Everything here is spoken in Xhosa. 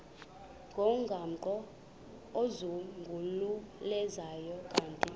ngomgaqo ozungulezayo ukanti